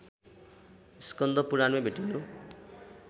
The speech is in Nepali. स्कन्द पुराणमै भेटिनु